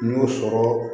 N y'o sɔrɔ